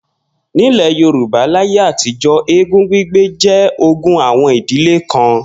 Nílè̩ Yorùbá láyé àtijó̩, eégún gbígbé jé̩ ogún àwo̩n ìdílé kan